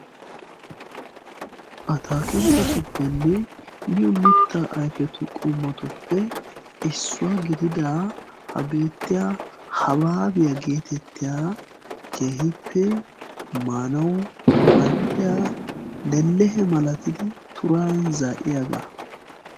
Ataakiltettupenna miyoo mittaa ayfetuppenne issuwaa gidida ha bettiyaa habaabiyaa getettiyaa keehippe maanawu mal'iyaa lelehe malatidi turay zaa'iyaagaa.